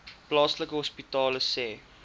plaaslike hospitale sê